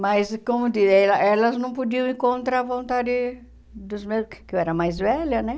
Mas, como eu diria, ela elas não podiam ir contra a vontade dos meus, porque eu era mais velha, né?